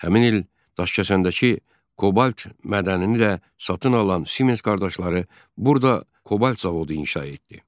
Həmin il Daşkəsəndəki Kobalt mədənini də satın alan Siemens qardaşları burada Kobalt zavodu inşa etdi.